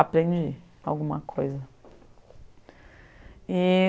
Aprendi alguma coisa. E